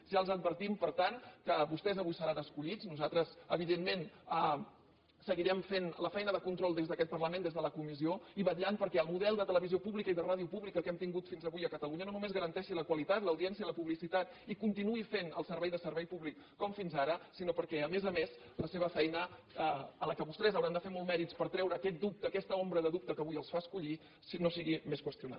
ja els advertim per tant que vostès avui seran escollits nosaltres evidentment seguirem fent la feina de control des d’aquest parlament des de la comissió i vetllant perquè el model de televisió pública i de ràdio públi·ca que hem tingut fins avui a catalunya no només ga·ranteixi la qualitat l’audiència la publicitat i continuï fent el servei de servei públic com fins ara sinó que a més a més la seva feina en la qual vostès hauran de fer molts mèrits per treure aquest dubte aquesta ombra de dubte que avui els fa escollir no sigui més qüestionada